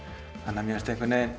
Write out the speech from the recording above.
mér fannst